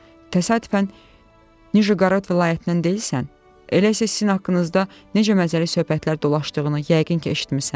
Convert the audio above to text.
Təsadüfən Nijeqorod vilayətindən deyilsən, elə isə sizin haqqınızda necə məzəli söhbətlər dolaşdığını yəqin ki, eşitmisən?